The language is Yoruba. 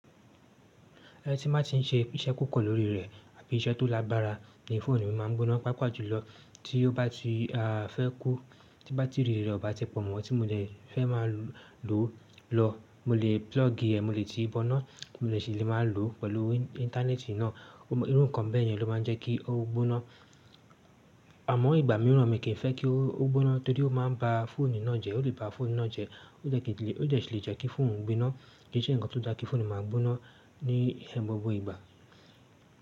Ẹ tí bá ti ń ṣe iṣẹ́ kò kọ́ lórí rẹ̀ àbí iṣẹ́ tó lágbára ní fóònù mi máa ń gbóná. Pàápàá jùlọ tí ó bá ti a fẹ́ kú, tí bátìrì rẹ̀ ọ bá ti pọ̀ mọ́, tí mo lè fẹ́ má lò ó lọ, mo lè púlọ́ọ̀gì ẹ̀, mo lè ti bọ ná, mo lè ṣì lè má lò ó pẹ̀lú íńtánẹ́ẹ̀tì ná. Irú nǹkan bẹ́ẹ̀ yẹn ló máa ń jẹ́ kí ó gbóná. Àmọ́ ìgbà míràn mi kì í fẹ́ kí ó gbóná torí ó máa ń ba fóònù ná jẹ́, ó lè ba fóònù ná jẹ́, ó jẹ́ kí lè, ó jẹ́ ṣì lè jẹ́ kí fóònù ń gbóná, kí i ṣe nǹkan tó dá kí fóònù máa gbóná ní bọ bo ìgbà.